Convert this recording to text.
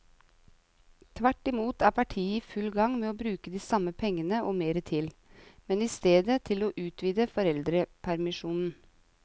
Tvert imot er partiet i full gang med å bruke de samme pengene og mer til, men i stedet til å utvide foreldrepermisjonen.